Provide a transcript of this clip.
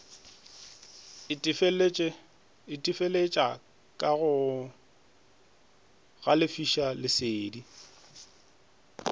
itefeletša ka go galefiša lesedi